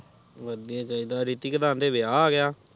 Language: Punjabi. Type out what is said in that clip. ਵਧੀਆ ਚਿੜਾ ਰਿਕਿਤ ਦਾ ਅੰਡੇ ਵਿਆਹ ਆ ਗਿਆ